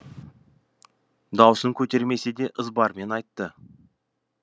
даусын көтермесе де ызбармен айтты